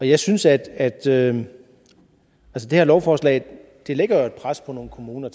jeg synes at at det her lovforslag lægger et pres på nogle kommuner